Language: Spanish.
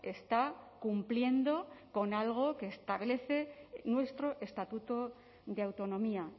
está cumpliendo con algo que establece nuestro estatuto de autonomía